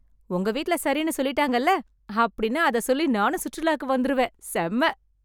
உங்க வீட்ல சரின்னு சொல்லிட்டாங்கல்ல, அப்படினா அத சொல்லி நானும் சுற்றுலாக்கு வந்துருவேன். செம!